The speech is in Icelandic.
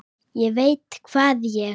ÉG VEIT HVAÐ ÉG